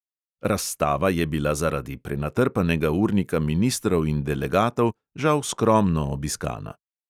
Razstava je bila zaradi prenatrpanega urnika ministrov in delegatov žal skromno obiskana.